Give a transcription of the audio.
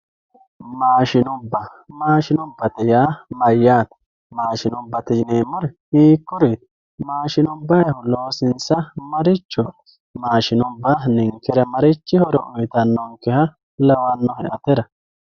Maashinubba mashinubbate uaa mayaate mashinubate yinemori hiikurit mashinubayihu loosinsa maati mashinubba ninkera marichi horo uyitanonke lawanonke atera.